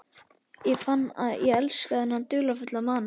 Ég fann að ég elskaði þennan dularfulla mann.